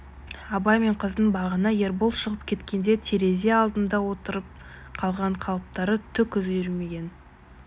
абай мен қыздың бағана ербол шығып кеткенде терезе алдында отырып қалған қалыптары түк өзгермеген